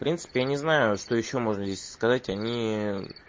в принципе я не знаю что ещё можно сказать они